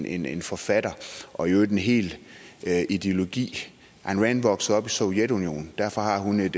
en en forfatter og i øvrigt en hel ideologi ayn rand voksede op i sovjetunionen og derfor har hun et